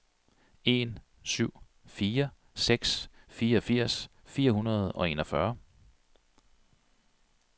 en syv fire seks fireogfirs fire hundrede og enogfyrre